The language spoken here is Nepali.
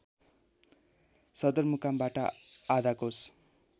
सदरमुकामबाट आधा कोस